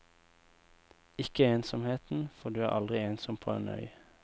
Ikke ensomheten, for du er aldri ensom på en øy.